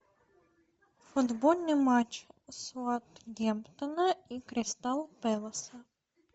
футбольный матч саутгемптона и кристал пэлэса